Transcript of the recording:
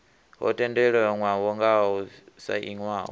ho tendelanwaho ngao yo sainiwaho